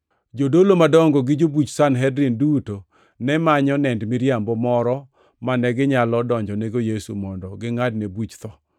Jodolo madongo gi jobuch Sanhedrin duto ne manyo nend miriambo moro mane ginyalo donjonego Yesu mondo gingʼadne buch tho.